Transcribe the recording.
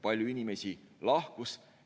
Palju inimesi lahkus.